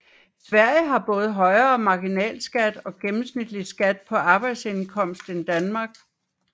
Sverige har både højere marginalskat og gennemsnitlig skat på arbejdsindkomst end Danmark